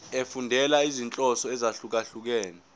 efundela izinhloso ezahlukehlukene